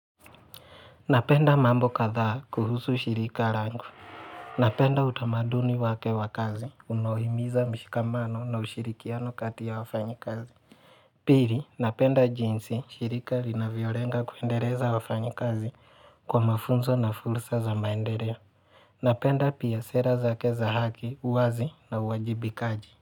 Napenda mambo katha kuhusu shirika langu. Napenda utamaduni wake wakazi. Unaohimiza mshikamano na ushirikiano katiya wafanyikazi. Pili, napenda jinsi shirika linavyorenga kuendeleza wafanyikazi kwa mafunzo na fursa za maendeleo. Napenda pia sera zake za haki, uwazi na uwajibikaji.